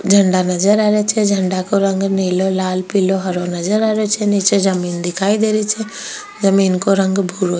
झंडा नजर आ रिया छे झंडा को रंग निलो लाल पिलो हरो नजर आ रिया छे नीचे जमीन दिखाई दे रही छे जमीन को रंग भुरो --